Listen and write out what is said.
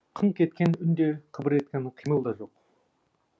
қыңқ еткен үн де қыбыр еткен қимыл да жоқ